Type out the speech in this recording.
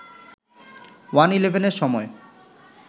ওয়ান-ইলেভেনের সময়